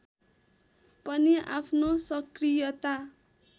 पनि आफ्नो सक्रियता